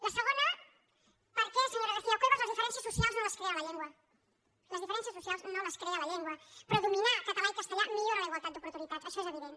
la segona perquè senyora garcia cuevas les diferències socials no les crea la llengua les diferències socials no les crea la llengua però dominar català i castellà millora la igualtat d’oportunitats això és evident